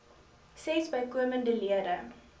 ses bykomende lede